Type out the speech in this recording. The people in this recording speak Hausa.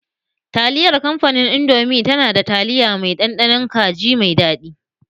Taliyar kamfanin indomi na da taliya mai ɗanɗanon kaji mai daɗi